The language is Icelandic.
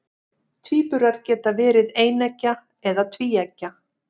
tvíburar geta verið eineggja eða tvíeggja